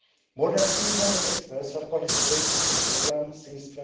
More than 300 experts have participated in the programme since